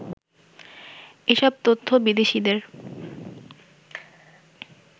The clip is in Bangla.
এসব তথ্য বিদেশীদের